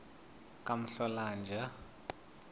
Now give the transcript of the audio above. kamhlolanja